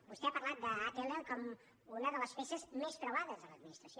vostè ha parlat d’atll com una de les peces més preuades de l’administració